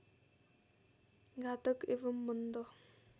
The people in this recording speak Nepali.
घातक एवं मन्द